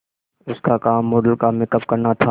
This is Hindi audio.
उसका काम मॉडल का मेकअप करना था